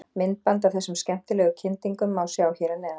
Myndband af þessum skemmtilegu kyndingum má sjá hér að neðan.